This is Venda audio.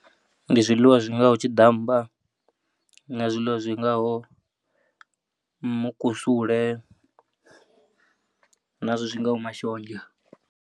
Ndi zwiḽiwa zwi ngaho tshiḓammba na zwiḽiwa zwi ngaho mukusule nazwo zwi ngaho mashonzha.